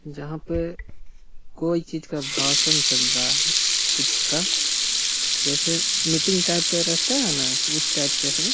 यहां पे कोई चीज का भाषण चल रहा है कुछ का जैसे मीटिंग टाइप का रहता है ना उसे टाइप का है।